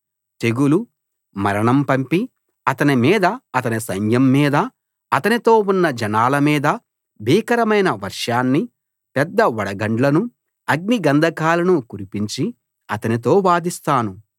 తెగులు మరణం పంపి అతని మీదా అతని సైన్యం మీదా అతనితో ఉన్న జనాల మీదా భీకరమైన వర్షాన్నీ పెద్ద వడగండ్లనూ అగ్నిగంధకాలనూ కురిపించి అతనితో వాదిస్తాను